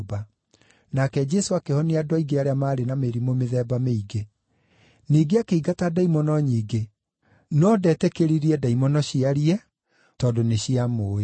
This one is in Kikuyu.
nake Jesũ akĩhonia andũ aingĩ arĩa maarĩ na mĩrimũ mĩthemba mĩingĩ. Ningĩ akĩingata ndaimono nyingĩ, no ndetĩkĩririe ndaimono ciarie tondũ nĩciamũũĩ.